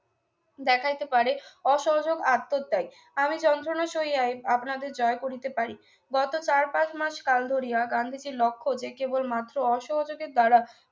দেখাইতে পারে অসহযোগ আত্মত্যাগ আমি যন্ত্রণা সহিয়াই আপনাদের জয় করিতে পারি গত চার পাঁচ মাস কাল ধরিয়া গান্ধীজির লক্ষ্য যে কেবলমাত্র অসহযোগের দ্বারাই